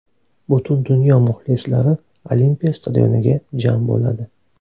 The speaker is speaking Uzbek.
Butun dunyo muxlislari Olimpiya stadioniga jam bo‘ladi.